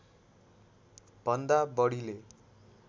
भन्दा बढीले